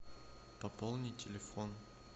пополни телефон